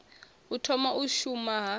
u thoma u shuma ha